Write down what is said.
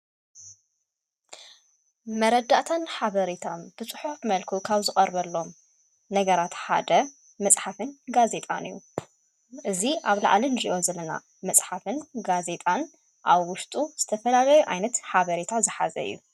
መረዳእታን ኃበሬታ ብጽሑፍ መልክዕ ካብ ዝቐርበሎም ነገራ ሓደ መጽሓፍን ጋዜጣን እዩ። እዙ ኣብ ላዓለን ዜይወ ዝለና መጽሓፍን ጋዜጣን ኣብ ውስጡ ዝተፈላለዩ ኣይነት ኃበሬታ ዝኃዘ አዩ።